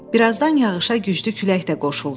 Birazdan yağışa güclü külək də qoşuldu.